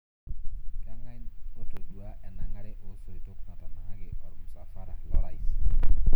Kang'ae ootaduo enang'are oosoitok natanang'aki ormusafara loorais?